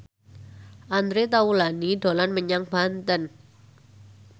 Andre Taulany dolan menyang Banten